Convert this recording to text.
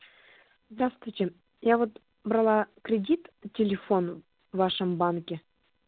здравствуйте я вот брала кредит по телефону в вашем банке